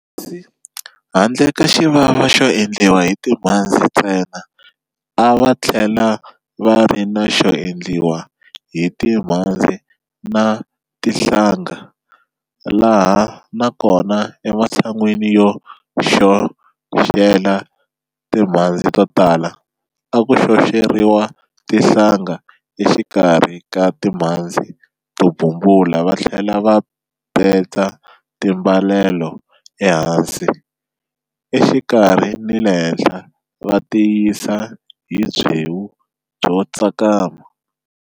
Kasi handle ka xivava xo endliwa hi timhandzi ntsena a va tlhela va ri na xo endliwa hi timhandzi na tinhlanga, laha na kona ematshanweni yo xoxela timhandzi to lala, a ku xoxeriwa tinhlanga exikarhi ka timhandzi to bumbula va tlhela va betsa timbalelo ehansi, exikarhi ni le henhla va tiyisa hi byewu byo tsakama.